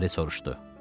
Lara soruşdu.